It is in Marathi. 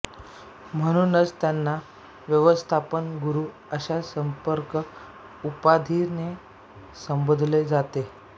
म्हणूनच त्यांना व्यवस्थापन गुरू अश्या समर्पक उपाधीने संबोधले जायचे